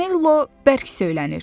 Canello bərk söyünür.